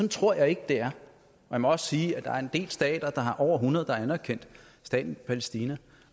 tror jeg ikke det er man må også sige at der er en del stater over hundrede der har anerkendt staten palæstina